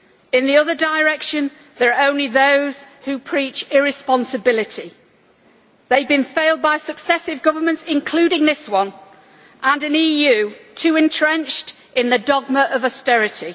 In the other direction there are only those who preach irresponsibility. They have been failed by successive governments, including this one, and an EU too entrenched in the dogma of austerity.